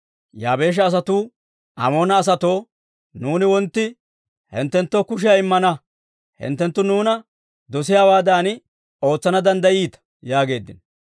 Yaabeesha asatuu Amoona asatoo, «Nuuni wontti hinttenttoo kushiyaa immana; hinttenttu nuuna dosiyaawaadan ootsana danddayiita» yaageeddino.